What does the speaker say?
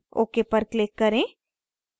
ok पर click करें